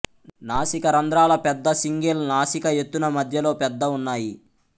నాసికా రంధ్రాల పెద్ద సింగిల్ నాసికా ఎత్తున మధ్యలో పెద్ద ఉన్నాయి